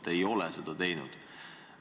Te ei ole seda teinud.